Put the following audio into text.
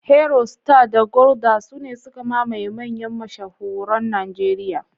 Heroe, Star, da Gulder sune suka mamaye manyan mashahuran Najeriya.